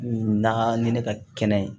Na ni ne ka kɛnɛ ye